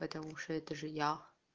потому что это же я